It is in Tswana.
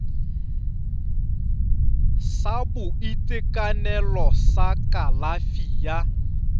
sa boitekanelo sa kalafi ya